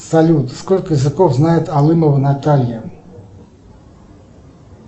салют сколько языков знает алымова наталья